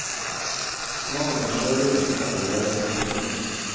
Smaken på sjølivet fikk han allerede som guttunge.